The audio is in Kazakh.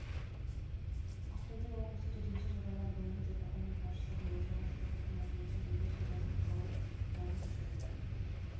ақтөбе облысы төтенше жағдайлар бойынша департамент басшысы буыржан сыздықовтың айтуынша үйді су басып қалып жан көшірілді